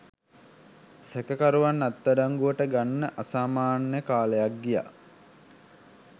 සැකකරුවන් අත්අඩංගුවට ගන්න අසාමාන්‍ය කාලයක් ගියා.